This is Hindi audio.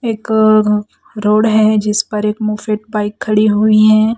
एक रोड हैं जिस पर एक मुफेट बाइक खड़ी हुई हैं।